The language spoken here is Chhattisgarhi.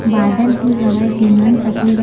बादल भी हवय जेन मन सफ़ेद रंग --